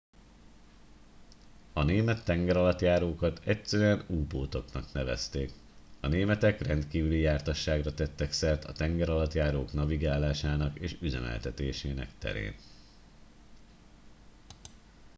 a német tengeralattjárókat egyszerűen u boat oknak nevezték a németek rendkívüli jártasságra tettek szert a tengeralattjárók navigálásának és üzemeltetésének terén